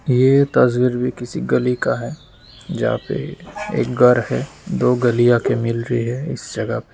यह तस्वीर भी किसी गली का है जहां पर एक घर है दो गलियां के मिल रही है। इस जगह पे --